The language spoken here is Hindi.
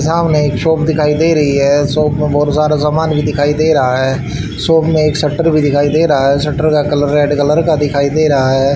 सामने एक शॉप दिखाई दे रहीं हैं शॉप में बहुत सारा सामान भी दिखाई दे रहा हैं शॉप में एक शटर भी दिखाई दे रहा हैं शटर का कलर रेड कलर का दिखाई दे रहा हैं।